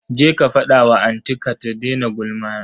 Je ka fada wa anti ka ta daina gulma.